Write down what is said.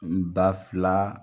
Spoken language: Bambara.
N ba filaa